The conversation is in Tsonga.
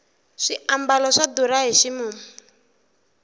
swiambalo swa durha hi ximumu